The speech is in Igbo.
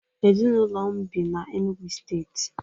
Ezịnụlo m bị na Enugwu steetị